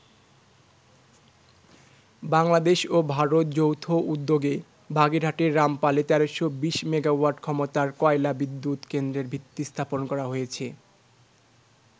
বাংলাদেশ ও ভারত যৌথ উদ্যোগে বাগেরহাটের রামপালে ১৩২০ মেগাওয়াট ক্ষমতার কয়লা বিদ্যুত কেন্দ্রের ভিত্তি স্থাপন করা হয়েছে।